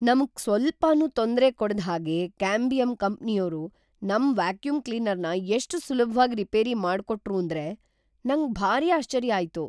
ನಮ್ಗ್ ಸ್ವಲ್ಪನೂ ತೊಂದ್ರೆ ಕೊಡ್ದ್‌ ಹಾಗೆ ಕ್ಯಾಂಬಿಯಮ್ ಕಂಪ್ನಿಯೋರು ನಮ್‌ ವ್ಯಾಕ್ಯೂಮ್‌ ಕ್ಲೀನರ್‌ನ ಎಷ್ಟ್‌ ಸುಲಭ್ವಾಗ್‌ ರಿಪೇರಿ ಮಾಡ್ಕೊಟ್ರೂಂದ್ರೆ ನಂಗ್‌ ಭಾರಿ ಆಶ್ಚರ್ಯ ಆಯ್ತು.